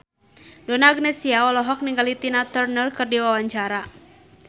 Donna Agnesia olohok ningali Tina Turner keur diwawancara